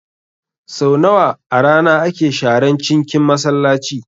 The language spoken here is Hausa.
Sau nawa a rana ake sharan cinkin Masallaci?